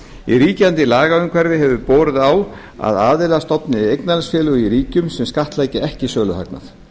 í ríkjandi lagaumhverfi hefur borið á að aðilar stofni eignarhaldsfélög í ríkjum sem skattleggja ekki söluhagnað